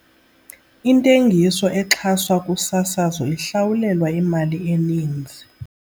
Intengiso exhaswa kusasazo ihlawulelwa imali eninzi.